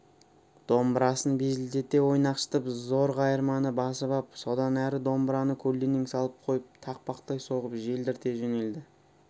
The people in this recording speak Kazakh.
домбырасын безілдете ойнақшытып зор қайырманы басып ап содан әрі домбыраны көлденең салып қойып тақпақтай соғып желдірте жөнелді